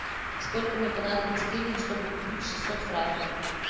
сколько мне понадобится денег чтобы купить шестьсот франков